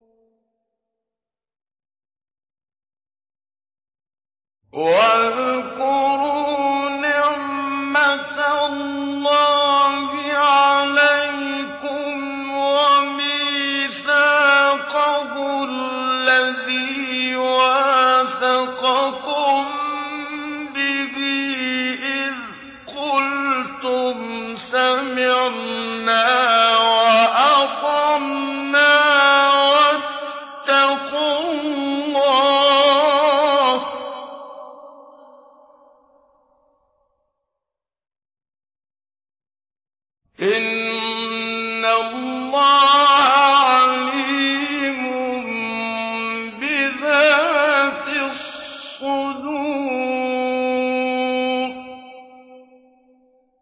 وَاذْكُرُوا نِعْمَةَ اللَّهِ عَلَيْكُمْ وَمِيثَاقَهُ الَّذِي وَاثَقَكُم بِهِ إِذْ قُلْتُمْ سَمِعْنَا وَأَطَعْنَا ۖ وَاتَّقُوا اللَّهَ ۚ إِنَّ اللَّهَ عَلِيمٌ بِذَاتِ الصُّدُورِ